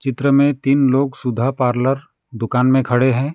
चित्र में तीन लोग सुधा पार्लर दुकान में खड़े हैं।